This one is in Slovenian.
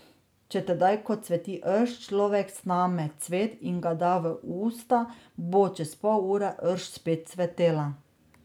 Če tedaj, ko cveti rž, človek sname cvet in ga da v usta, bo čez pol ure, rž spet cvetela.